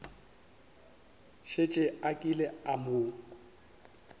šetše a kile a mo